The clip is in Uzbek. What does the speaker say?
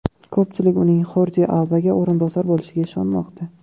Ko‘pchilik uning Xordi Albaga o‘rinbosar bo‘lishiga ishonmoqda.